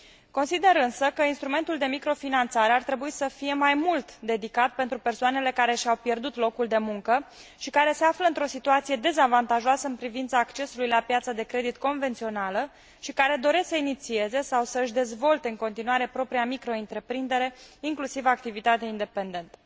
Consider, însă, că instrumentul de microfinanțare ar trebui să fie mai mult dedicat pentru persoanele care și au pierdut locul de muncă și care se află într o situație dezavantajoasă în privința accesului la piața de credit convențională și care doresc să inițieze sau să își dezvolte în continuare propria microîntreprindere, inclusiv activitatea independentă.